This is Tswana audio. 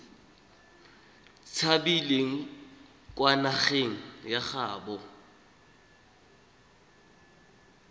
tshabileng kwa nageng ya gaabo